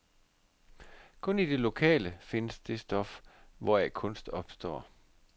Kun i det lokale findes det stof, hvoraf kunst opstår.